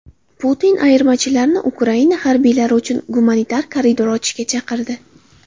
Putin ayirmachilarni Ukraina harbiylari uchun gumanitar koridor ochishga chaqirdi.